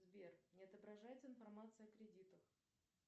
сбер не отображается информация о кредитах